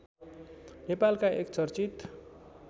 नेपालका एक चर्चित